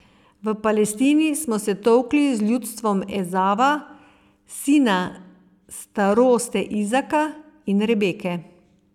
V Palestini smo se tolkli z ljudstvom Ezava, sina staroste Izaka in Rebeke.